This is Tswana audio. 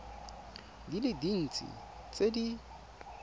di le dintsi tse di